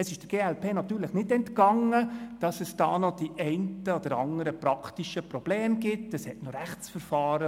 Der glp ist natürlich nicht entgangen, dass es noch die einen oder anderen praktischen Probleme gibt, so laufen etwa noch Rechtsverfahren.